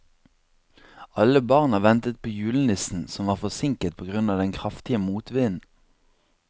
Alle barna ventet på julenissen, som var forsinket på grunn av den kraftige motvinden.